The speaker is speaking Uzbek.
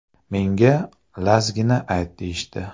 Menga ‘Lazgi’ni ayt deyishdi.